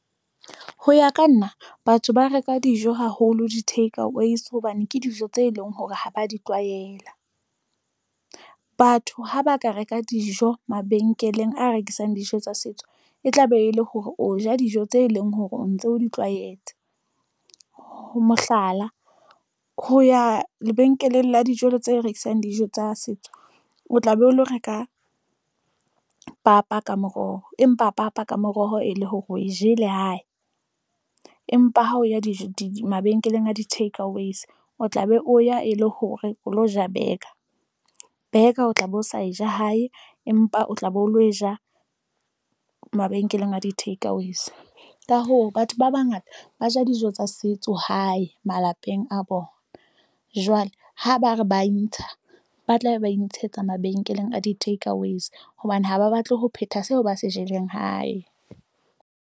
Ho ya ka nna, batho ba reka dijo haholo di-takeaways hobane ke dijo tse leng hore ha ba di tlwaela. Batho ha ba ka reka dijo mabenkeleng a rekisang dijo tsa setso, e tla be e le hore o ja dijo tse leng hore o ntse o di tlwaetse. Mohlala, ho ya lebenkeleng la tse rekisang dijo tsa setso. O tla be o lo reka papa ka moroho, empa papa ka moroho e le hore o e jele hae. Empa ha o ya di mabenkeleng a di-takeaways, o tla be o ya e le hore o lo ja burger. Burger o tla be o sa e ja hae, empa o tla be o lo e ja mabenkeleng a di-takeaways. Ka hoo, batho ba bangata ba ja dijo tsa setso hae malapeng a bona. Jwale ha ba re ba intsha, ba tla be ba intshetsa mabenkeleng a di-takeaways hobane ha ba batle ho phetha seo ba se jeleng hae.